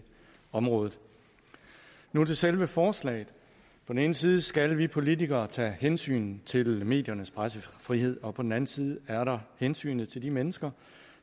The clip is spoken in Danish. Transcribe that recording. området nu er det selve forslaget på den ene side skal vi politikere tage hensyn til mediernes pressefrihed og på den anden side er der hensynet til de mennesker